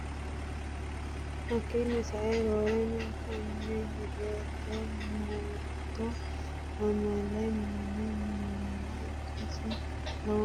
Hakkiinni sae roorenkanni Higgete Murto Amaale Mini miila ikkasi lowontanni yaachishshinosi Hayle Sillaase wolewa biiloonse soye paarlaamunni xeerti’ranno gede assinosi.